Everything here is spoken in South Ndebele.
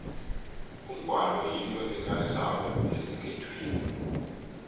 umgwalo yinto ekarisako esikhethwini